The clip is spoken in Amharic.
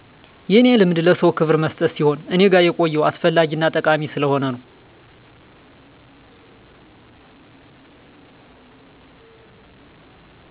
የኔ ልማድ ለሰዉ ክብር መስጠት ሲሆን እኔ ጋ የቆየው አስፈላጊ እና ጠቃሚ ስለሆነ ነዉ